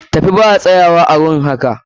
Tafi ba a tsayuwa a gurin haƙa!